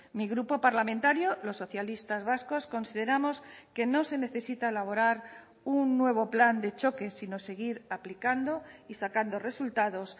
mi grupo parlamentario los socialistas vascos consideramos que no se necesita elaborar un nuevo plan de choque sino seguir aplicando y sacando resultados